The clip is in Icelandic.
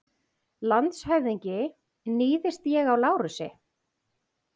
LANDSHÖFÐINGI: Níðist ég á Lárusi?